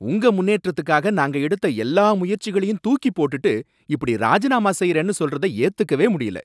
உங்க முன்னேற்றத்துக்காக நாங்க எடுத்த எல்லா முயற்சிகளையும் தூக்கிப்போட்டுட்டு, இப்படி ராஜினாமா செய்யறேன்னு சொல்றத ஏத்துக்கவே முடியல.